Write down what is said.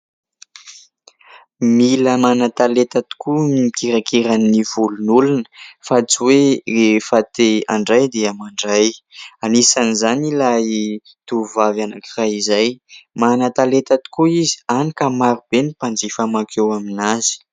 Mila manan-talenta tokoa ny mikirakira ny volon'olona, fa tsy hoe rehefa te handray dia mandray. Anisan'izany ilay tovovavy anankiray izay, manan-talenta tokoa izy hany ka maro be ny mpanjifa mankeo aminazy.